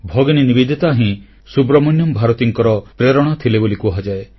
ଭଗିନୀ ନିବେଦିତା ହିଁ ସୁବ୍ରମଣ୍ୟମ ଭାରତୀଙ୍କର ପ୍ରେରଣା ଥିଲେ ବୋଲି କୁହାଯାଏ